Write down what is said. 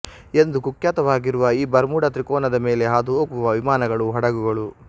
ಎಂದು ಕುಖ್ಯಾತವಾಗಿರುವ ಈ ಬರ್ಮುಡಾ ತ್ರಿಕೋನ ದ ಮೇಲೆ ಹಾದು ಹೋಗುವ ವಿಮಾನಗಳು ಹಡಗುಗಳು